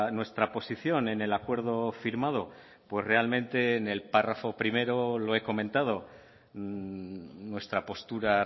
nuestra posición en el acuerdo firmado pues realmente en el párrafo primero lo he comentado nuestra postura